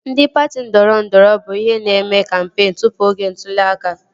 Ndị patị ndọrọndọrọ bụ ihe na-eme kampeen tụpụ oge ntụli aka